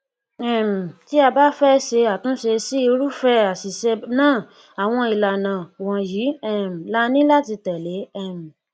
um tí a bá fẹ bá fẹ ṣe àtúnṣe sí irúfẹ àṣìṣe náà àwọn ìlànà wọnyi um laní láti tẹlẹ um